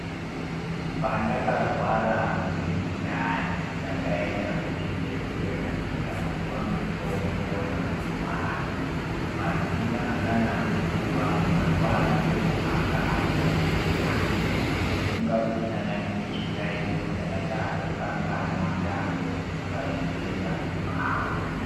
Pandakarwara, nemundani ndakayenda kuchibhedhlera, ndikapiwa mutombo wamazuwano. Pasina kana nguwa marwadzo anga atopera, zvekufunga kuti ndanga ndine chiyayiyo, ndanganda tokanganwa, ndakutofunga zvekwenda kubhawa.